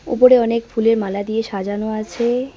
উপরে অনেক ফুলের মালা দিয়ে সাজানো আছে।